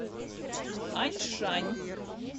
аньшань